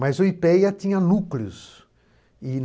Mas o i pê ê á tinha núcleos. E